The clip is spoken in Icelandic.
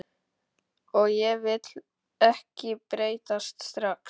Og ég vil ekki breytast strax.